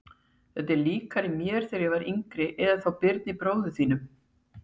Þetta er líkara mér þegar ég var yngri eða þá Birni bróður þínum.